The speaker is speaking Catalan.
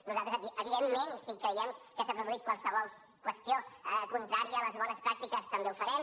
nosaltres evidentment si creiem que s’ha produït qualsevol qüestió contrària a les bones pràctiques també ho farem